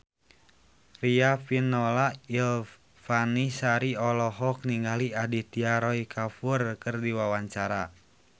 Riafinola Ifani Sari olohok ningali Aditya Roy Kapoor keur diwawancara